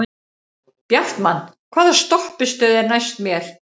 Bjartmann, hvaða stoppistöð er næst mér?